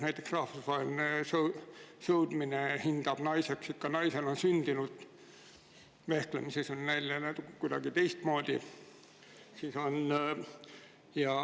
Näiteks rahvusvahelises sõudmises hinnatakse naiseks ikka naisena sündinut, vehklemises on neil kuidagi teistmoodi.